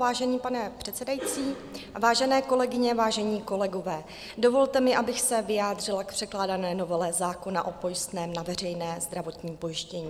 Vážený pane předsedající, vážené kolegyně, vážení kolegové, dovolte mi, abych se vyjádřila k překládané novele zákona o pojistném na veřejné zdravotní pojištění.